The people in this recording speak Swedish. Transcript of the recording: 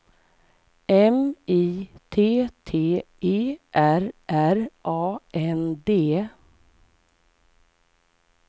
M I T T E R R A N D